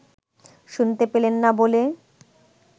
শুনতে পেলেন না বলে